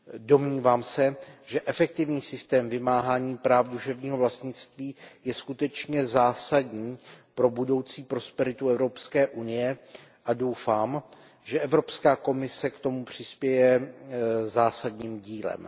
Domnívám se, že efektivní systém vymáhání práv duševního vlastnictví je skutečně zásadní pro budoucí prosperitu Evropské unie a doufám, že Evropská komise k tomu přispěje zásadní dílem.